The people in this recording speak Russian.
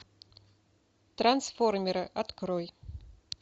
трансформеры открой